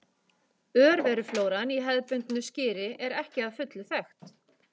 Örveruflóran í hefðbundnu skyri er ekki að fullu þekkt.